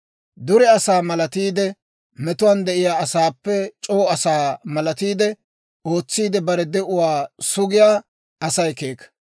Dure asaa malatiide, metuwaan de'iyaa asaappe c'oo asaa malatiide, ootsiidde bare de'uwaa sugiyaa Asay keeka.